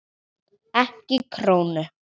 Ekki krónu.